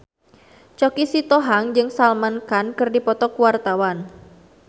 Choky Sitohang jeung Salman Khan keur dipoto ku wartawan